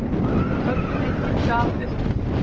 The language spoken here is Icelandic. Tölvuleitin gaf upp